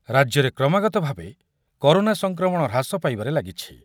ରାଜ୍ୟରେ କ୍ରମାଗତଭାବେ କରୋନା ସଂକ୍ରମଣ ହ୍ରାସ ପାଇବାରେ ଲାଗିଛି।